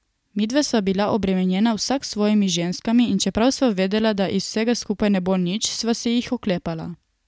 Midva sva bila obremenjena vsak s svojimi ženskami in čeprav sva vedela, da iz vsega skupaj ne bo nič, sva se jih oklepala.